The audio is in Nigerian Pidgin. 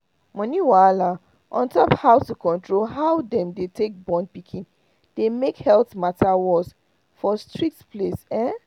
money wahala on top how to control how them dey take born pikin dey make health matter worse for strict place ehn